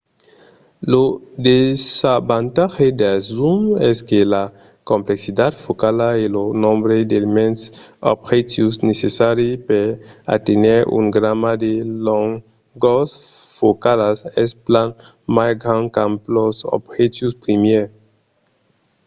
lo desavantatge dels zooms es que la complexitat focala e lo nombre d'elements d'objectius necessaris per aténher una gamma de longors focalas es plan mai grand qu'amb los objectius primièrs